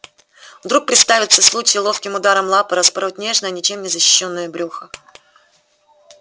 вдруг представится случай ловким ударом лапы распороть нежное ничем не защищённое брюхо